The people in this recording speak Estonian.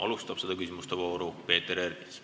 Alustab seda küsimuste vooru Peeter Ernits.